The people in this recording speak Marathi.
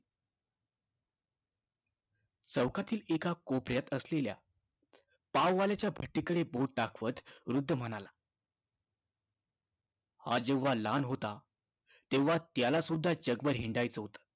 चौकातील एका कोपऱ्यात असलेल्या पाववाल्याच्या भट्टीकडे बोट दाखवत वृद्ध म्हणाला, हा जेव्हा लहान होता तेव्हा त्यालासुद्धा जगभर हिंडायचं होतं.